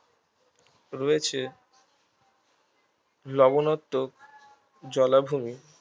রয়েছে লবনাত্মক জলাভূমি